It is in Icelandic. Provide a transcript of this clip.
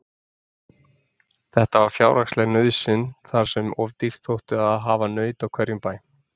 Þetta var fjárhagsleg nauðsyn þar sem of dýrt þótti að hafa naut á hverjum bæ.